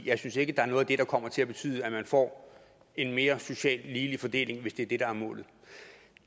jeg synes ikke der er noget af det der kommer til at betyde at man får en mere socialt ligelig fordeling hvis det er det der er målet